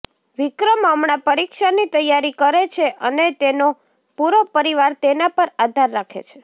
વિક્રમ હમણાં પરીક્ષાની તૈયારી કરે છે અને તેનો પૂરો પરિવાર તેના પર આધાર રાખે છે